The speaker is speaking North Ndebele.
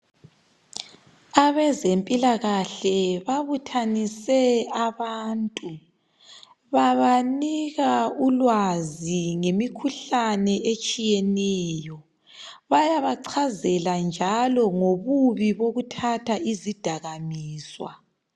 Abezempilakahle babuthanise abantu babanika ulwazi ngemikhuhlane etshiyeneyo bayabavezela njalo ngobubi bokuthatha izidakamizwa.